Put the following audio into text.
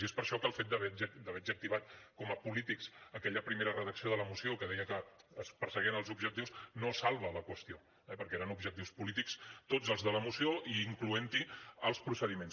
i és per això que el fet d’haver adjectivat com a polítics aquella primera redacció de la moció que deia que es perseguien els objectius no salva la qüestió perquè eren objectius polítics tots els de la moció i incloent hi els procediments